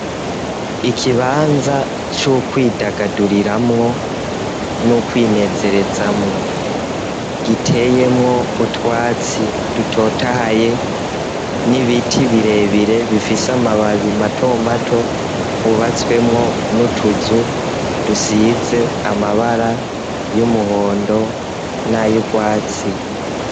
ikibanza c'ukwidagaduriramwo n'ukwinerezamwo giteyemwo utwatsi dutotahaye n'ibiti birebire bifise amababi matomato hubatswemwo n'utuzu dusize amabara y'umuhondo n'ayurwatsi.